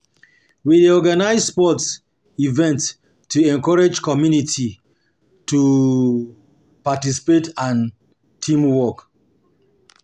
We dey organize sports events to encourage community to encourage community participation and teamwork.